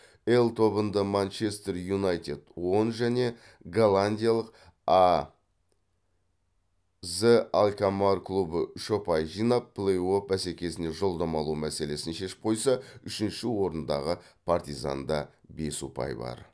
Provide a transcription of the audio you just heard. л тобында манчестер юнайтед он және голландиялық аз алкамаар клубы үш ұпай жинап плей офф бәсекесіне жолдама алу мәселесін шешіп қойса үшінші орындағы партизанда бес ұпай бар